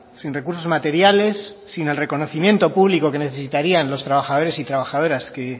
sin recursos materiales sin el reconocimiento público que necesitarían los trabajadores y trabajadoras que